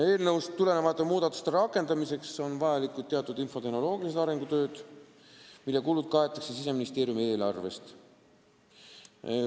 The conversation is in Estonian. Eelnõust tulenevate muudatuste rakendamiseks on vajalikud teatud infotehnoloogilised arendustööd, mille kulud kaetakse Siseministeeriumi eelarvest.